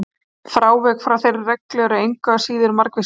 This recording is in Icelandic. Frávik frá þeirri reglu eru engu að síður margvísleg.